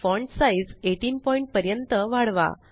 font size 18 point पर्यंत वाढवा